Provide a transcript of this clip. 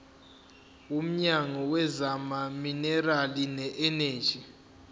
womnyango wezamaminerali neeneji